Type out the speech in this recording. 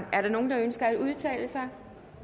er der nogen der ønsker at udtale sig